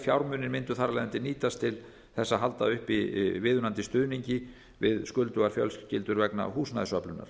fjármunir mundu þar af leiðandi nýtast til þess að halda uppi viðunandi stuðningi við skuldugar fjölskyldur vegna húsnæðisöflunar